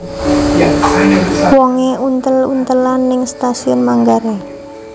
Wonge untel untelan ning Stasiun Manggarai